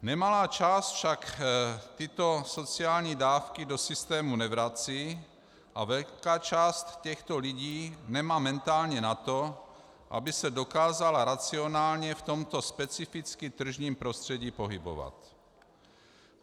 Nemalá část však tyto sociální dávky do systému nevrací a velká část těchto lidí nemá mentálně na to, aby se dokázala racionálně v tomto specificky tržním prostředí pohybovat.